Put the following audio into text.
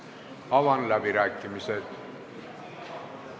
Avan läbirääkimised.